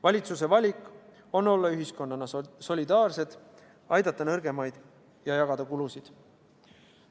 Valitsuse valik on olla ühiskonnana solidaarsed, aidata nõrgemaid ja jagada kulusid.